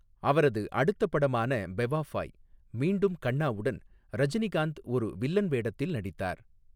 அவரது அடுத்த படமான பெவாஃபாய், மீண்டும் கண்ணாவுடன், ரஜினிகாந்த் ஒரு வில்லன் வேடத்தில் நடித்தார்.